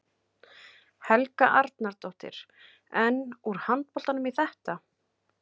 Helga Arnardóttir: En, úr handboltanum í þetta?